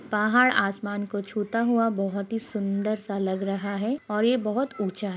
पहाड़ आसमान को छूता हुआ बहुत ही सुंदर सा लग रहा है और ये बहुत उच्चा है।